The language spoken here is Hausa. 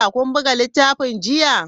Kun buga littafin jiya?